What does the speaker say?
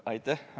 Aitäh!